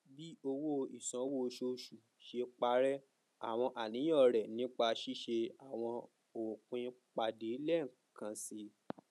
bi owo isanwo oṣooṣu ṣe parẹ awọn aniyan rẹ nipa ṣiṣe awọn opin pade lẹẹkansi